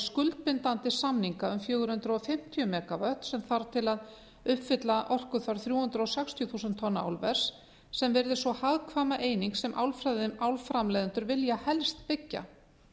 skuldbindandi samninga um fjögur hundruð fimmtíu megavött sem þarf til að uppfylla orkuþörf þrjú hundruð sextíu þúsund tonna álvers sem yrði sú hagkvæma eining sem álframleiðendur vilja helst byggja